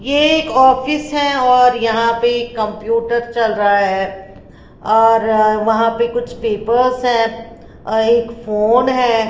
ये एक ऑफिस है और यहाँ पे कंप्यूटर चल रहा है और वहाँ पे कुछ पेपर्स हैं एक फोन है।